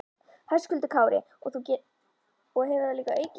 Höskuldur Kári: Og hefur það líka aukist?